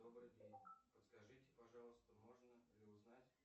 добрый день подскажите пожалуйста можно ли узнать